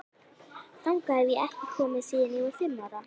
Þangað hef ég ekki komið síðan ég var fimm ára.